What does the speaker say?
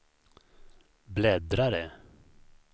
bläddrare